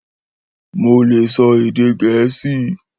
Mó le sọ èdè gẹ̀ẹ́sì